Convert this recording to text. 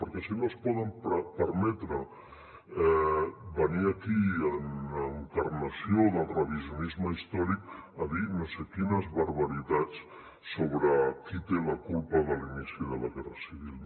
perquè si no es poden permetre venir aquí en encarnació del revisionisme històric a dir no sé quines barbaritats sobre qui té la culpa de l’inici de la guerra civil